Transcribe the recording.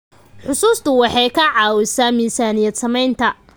Xusuustu waxay ka caawisaa miisaaniyad-samaynta.